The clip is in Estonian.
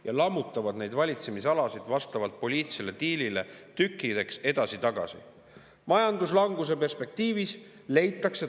ja lammutavad neid valitsemisalasid vastavalt poliitilisele diilile nagu legoklotse tükkideks edasi-tagasi.